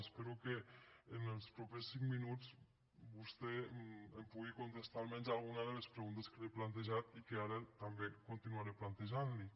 espero que en els propers cinc minuts vostè em pugui contestar almenys alguna de les preguntes que li he plantejat i que ara també continuaré plantejant li